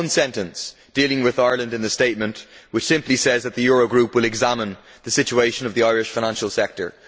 There is one sentence dealing with Ireland in the statement, which simply says that the Euro Group will examine the situation of the Irish financial sector.